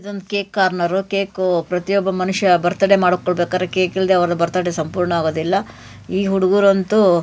ಇದೊಂದು cake corner cake ಪ್ರತಿಯೊಬ್ಬ ಮನುಷ್ಯ ಬರ್ತ್ಡೇ ಮಾಡಿ ಕೊಳ್ಳಬೇಕಾದ್ರೆ ಕೇಕು ಇಲ್ಲದೆ ಅವರ ಬರ್ತ್ಡೇ ಸಂಪೂರ್ಣ ಆಗೋದಿಲ್ಲ ಈ ಹುಡುಗರಂತೂ.